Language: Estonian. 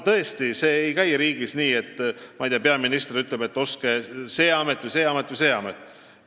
Tõesti, meil riigis ei käi asjad nii, et peaminister ütleb, et ostke, see amet, see amet või see amet.